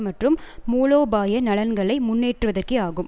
மற்றும் மூலோபாய நலன்களை முன்னேற்றுவதற்கே ஆகும்